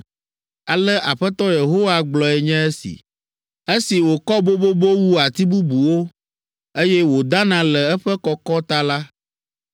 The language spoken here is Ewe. “Ale Aƒetɔ Yehowa gblɔe nye esi: ‘Esi wòkɔ bobobo wu ati bubuwo, eye wòdana le eƒe kɔkɔ ta la,